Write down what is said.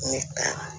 Ne ka